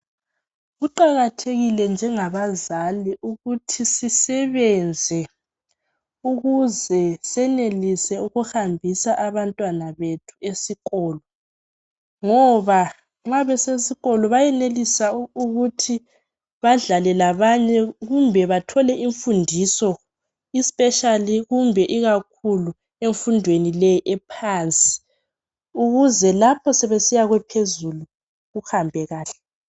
Kuqakathekile njengabazali ukuthi sisebenze ukuze senelise ukuhambisa abantwana bethu esikolo ngoba nxa besesikolo beyenelisa ukuthi badlale labanye kumbe bathole imfundiso, especially kumbe ikakhulu emfundweni le ephansi, ukuze lapho sebesiya kwephezulu kuhambe kuhle.